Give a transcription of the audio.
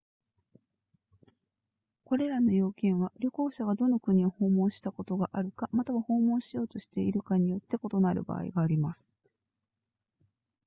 これらの要件は旅行者がどの国を訪問したことがあるかまたは訪問しようとしているかによって異なる場合があります